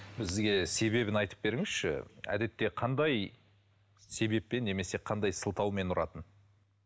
бізге себебін айтып беріңізші әдетте қандай себеппен немесе қандай сылтаумен ұратын